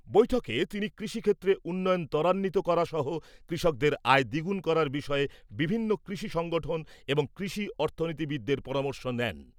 বৈঠকে তিনি কৃষিক্ষেত্রে উন্নয়ন তরান্বিত করা সহ কৃষকদের আয় দ্বিগুণ করার বিষয়ে বিভিন্ন কৃষি সংগঠন এবং কৃষি অর্থনীতিবিদদের পরামর্শন নেন ।